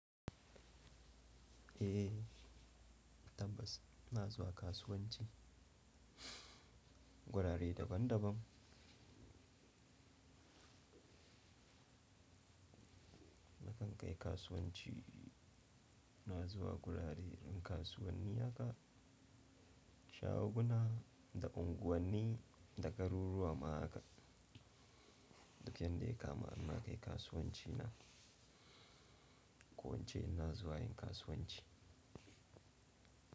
Eh tabbas, na zuwa kasuwanci. Gurare daban daban. Nakan kai kasuwanci, na zuwa gurare yin kasuwanni haka, shaguna da unguwanni da garuruwa ma haka. Dukiyar da ya kama na kai kasuwanci na. Kowace in na zuwa yin kasuwanci.